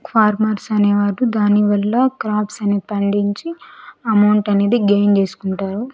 Farmers అనేవారు దానివల్ల crops అనేది పండించి అమౌంట్ అనేది గైన్ చేసుకుంటారు.